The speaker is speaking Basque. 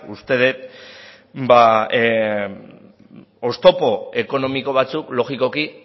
uste det oztopo ekonomiko batzuk logikoki